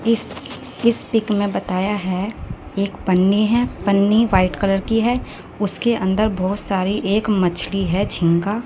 इस इस पिक में बताया है एक पन्नी हैं पन्नी व्हाईट कलर की है उसके अंदर बहुत सारी एक मछली है झींगा --